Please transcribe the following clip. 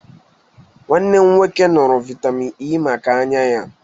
Nwanne m nwoke ṅụụrụ vitamịn Ẹ́ maka anya ya.